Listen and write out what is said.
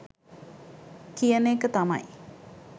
කියන එක තමයි.